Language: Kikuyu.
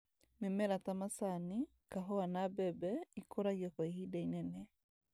Mĩmera ta macani , kahũa na mbembe ikũragio kwa ihinda inene